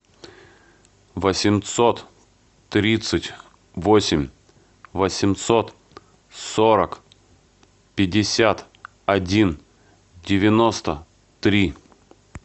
восемьсот тридцать восемь восемьсот сорок пятьдесят один девяносто три